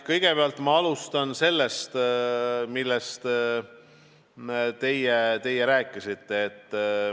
Kõigepealt ma alustan sellest, millest teie rääkisite.